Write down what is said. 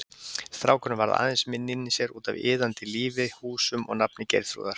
Strákurinn varð aðeins minni inni í sér, útaf iðandi lífi, húsum og nafni Geirþrúðar.